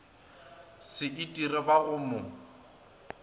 se itire ba go mo